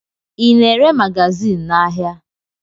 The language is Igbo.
Ị na-ere magazin n'ahịa?